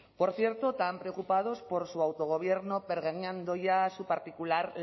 por cierto tan preocupados por su autogobierno pergeñando ya su particular